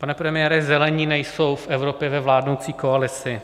Pane premiére, Zelení nejsou v Evropě ve vládnoucí koalici.